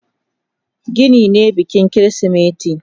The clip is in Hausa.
Gini ne bikin kirismeti.